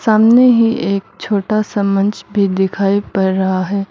सामने ही एक छोटा सा मंच भी दिखाई पड़ रहा है।